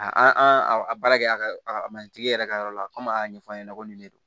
A an an a baara kɛ a ka matigi yɛrɛ ka yɔrɔ la komi a y'a ɲɛfɔ a ɲɛna ko nin de don